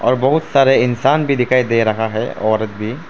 और बहुत सारे इंसान भी दिखाई दे रहा है औरत भी।